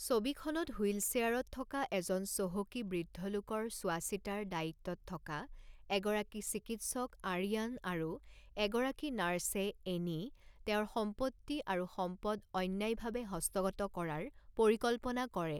ছবিখনত হুইলচেয়াৰত থকা এজন চহকী বৃদ্ধ লোকৰ চোৱা চিতাৰ দায়িত্বত থকা এগৰাকী চিকিৎসক আৰিয়ান আৰু এগৰাকী নাৰ্ছে এনি তেওঁৰ সম্পত্তি আৰু সম্পদ অন্যায়ভাৱে হস্তগত কৰাৰ পৰিকল্পনা কৰে।